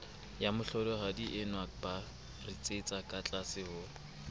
lamohlolohadienwa ba ritsetsa katlase ho